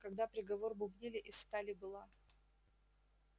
когда приговор бубнили из стали была